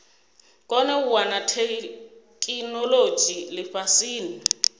kone u wana theikinolodzhi lifhasini